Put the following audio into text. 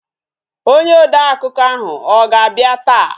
Onye odeakụkọ ahụ ọ ga-abịa taa?